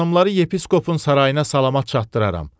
Xanımları yepiskopun sarayına salamat çatdıraram.